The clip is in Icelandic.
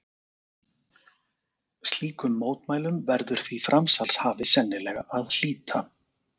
Slíkum mótmælum verður því framsalshafi sennilega að hlíta.